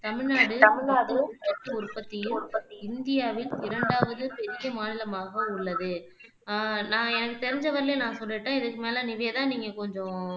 தமிழ்நாடு மொத்த உள்நாட்டு உற்பத்தியில் இந்தியாவில் இரண்டாவது பெரிய மாநிலமாக உள்ளது அஹ் எனக்கு தெரிஞ்ச வரையிலும் நான் சொல்லிட்டேன் இதுக்கு மேல நிவேதா நீங்க கொஞ்சம்